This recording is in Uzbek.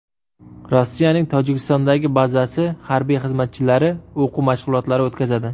Rossiyaning Tojikistondagi bazasi harbiy xizmatchilari o‘quv mashg‘ulotlari o‘tkazadi.